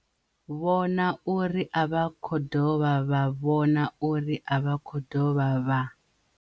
vhona uri a vha khou dovha vha vhona uri a vha khou dovha vha